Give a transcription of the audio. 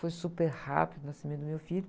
Foi super rápido o nascimento do meu filho.